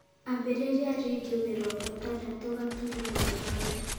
ambĩrĩria rĩndiũ mĩrongo ĩtandatũ gaturumo ithano